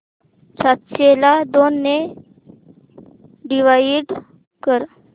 सातशे ला दोन ने डिवाइड कर